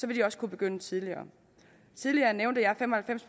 de også kunne begynde tidligere tidligere nævnte jeg fem og halvfems